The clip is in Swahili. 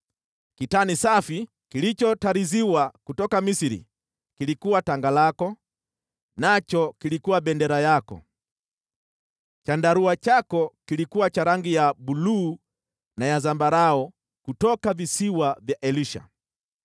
Kitani safi kilichotariziwa kutoka Misri kilikuwa tanga lako, nacho kilikuwa bendera yako; chandarua chako kilikuwa cha rangi ya buluu na ya zambarau kutoka visiwa vya Elisha.